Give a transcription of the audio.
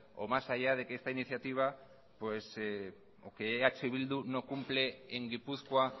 o más allá de que esta iniciativa pues o que eh bildu no cumple en gipuzkoa